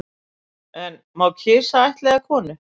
En má kisa ættleiða konu